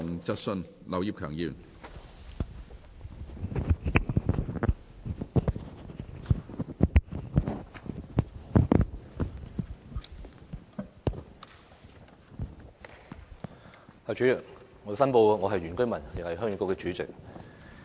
主席，我申報我是原居民，也是鄉議局主席。